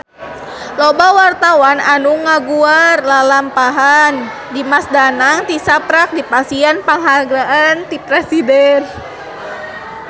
Loba wartawan anu ngaguar lalampahan Dimas Danang tisaprak dipasihan panghargaan ti Presiden